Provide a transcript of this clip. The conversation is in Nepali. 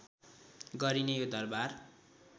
गरिने यो दरबार